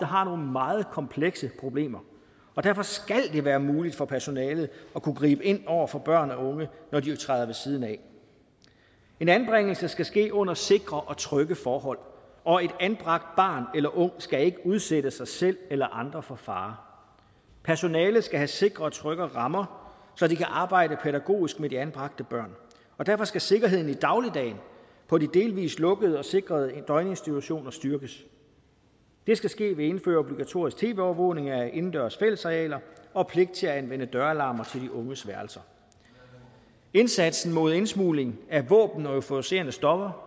har nogle meget komplekse problemer og derfor skal det være muligt for personalet at kunne gribe ind over for børn og unge når de træder ved siden af en anbringelse skal ske under sikre og trygge forhold og et anbragt barn eller en ung skal ikke udsætte sig selv eller andre for fare personalet skal have sikre og trygge rammer så de kan arbejde pædagogisk med de anbragte børn og derfor skal sikkerheden i dagligdagen på de delvis lukkede og sikrede døgninstitutioner styrkes det skal ske ved at indføre obligatorisk tv overvågning af indendørs fællesarealer og pligt til at anvende døralarmer til de unges værelse indsatsen mod indsmugling af våben og euforiserende stoffer